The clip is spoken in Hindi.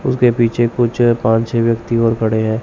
उसके पीछे कुछ पांच-छे व्यक्ति और खड़े हैं।